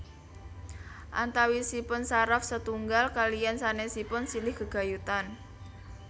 Antawisipun saraf setunggal kaliyan sanèsipun silih gegayutan